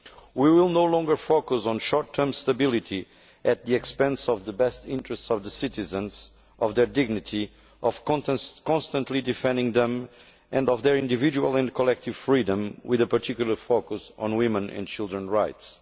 We will no longer focus on short term stability at the expense of the best interests of the citizens, of their dignity, of constantly defending them and of their individual and collective freedom, with a particular focus on women's and children's rights.